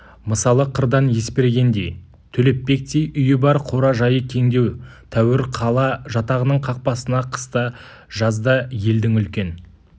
мысалы қырдан есбергендей төлепбектей үйі бар қора-жайы кеңдеу тәуір қала жатағының қақпасына қыста жазда елдің үлкен